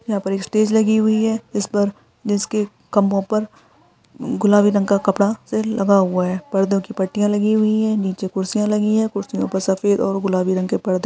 यहाँ पर एक स्टेज लगी हुई है इस पर जिसके खम्भे पर गुलाबी कलर का कपडा लगा हुआ है पर्दो की पाटिया लगी हुई है नीचे कुर्सियां लगी है कुर्सियों पर सफेद और गुलाबी रंग के पर्दे--